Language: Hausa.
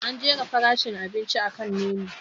An jera farashin abinci akan Menu.